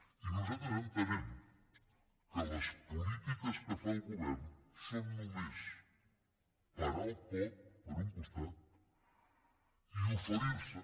i nosaltres entenem que les polítiques que fa el govern són només parar el cop per un costat i oferirse